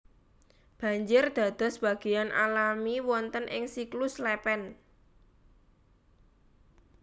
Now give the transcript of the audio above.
Banjir dados bagéan alami wonten ing siklus lèpèn